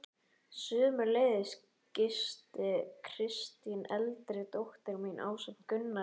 Sömuleiðis gisti Kristín eldri dóttir mín ásamt Gunnari